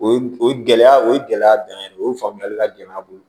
O o gɛlɛya o gɛlɛya dɔn o ye faamuyali ka gɛlɛ an bolo